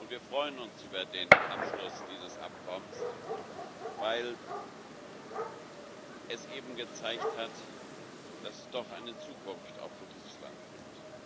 Wir freuen uns über den Abschluss dieses Abkommens, weil es eben gezeigt hat, dass es doch eine Zukunft auch für dieses Land gibt.